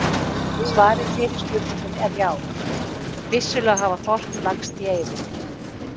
Svarið við fyrri spurningunni er já, vissulega hafa þorp lagst í eyði.